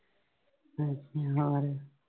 ਹਮ ਹੋਰ?